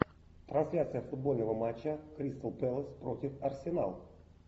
трансляция футбольного матча кристал пэлас против арсенал